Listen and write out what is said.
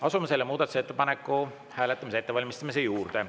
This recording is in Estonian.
Asume selle muudatusettepaneku hääletamist ette valmistama.